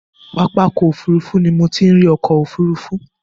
Pápákọ̀ òfurufú ni mo ti ń ri ọkọ̀ òfurufú.